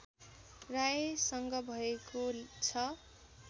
रायसँग भएको छ